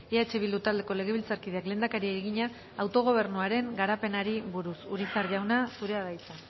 eh bildu taldeko legebiltzarkideak lehendakariari egina autogobernuaren garapenari buruz urizar jauna zurea da hitza